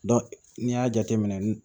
n'i y'a jateminɛ n